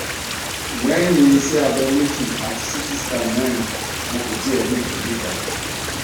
lẹyìn iṣẹ abẹ mẹjì ati ct scan mẹrin wọn kò tíẹ rí ìtọjú kan